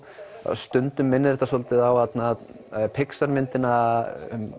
stundum minnir þetta svolítið á Pixar myndina